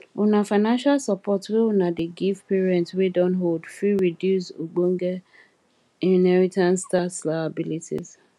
una financial support wey una dey give parents wey don old fit reduce ogboge inheritance tax liabilities